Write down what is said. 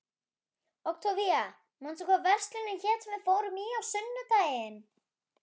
Októvía, manstu hvað verslunin hét sem við fórum í á sunnudaginn?